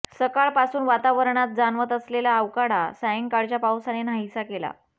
सकाळपासून वातावरणात जाणवत असलेला उकाडा सायंकाळच्या पावसाने नाहीसा केला